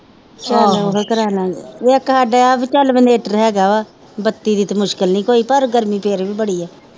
ਚਲ ਓਹੋ ਕਰਾਲਾਗੇ ਇਕ ਸਾਡੇ ਇਹ ਵਾ ਚੱਲ ਇਨਵੇਟਰ ਹੇਗਾ ਵਾ ਬੱਤੀ ਦੀ ਤੇ ਮੁਸ਼ਕਿਲ ਨਹੀਂ ਕੋਈ ਪਰ ਗਰਮੀ ਫਿਰ ਵੀ ਬੜੀ ਆ